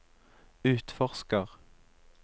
utforsker